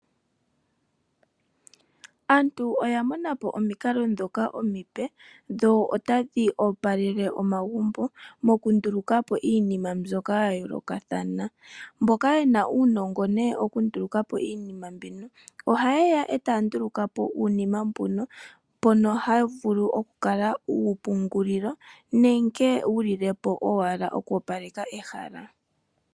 Aantu oya mona po omikalo ndhoka omipe dho otadhi opalele omagumbo mokunduluka po iinima mbyoka ya yoolokathana. Mboka ye na uunongo wokunduluka po iinima mbino ohaye ya e taya nduluka po uunima mbuka mbono hawu vulu okukala oompungulilo nenge wu lile po owala oku opaleka ehala.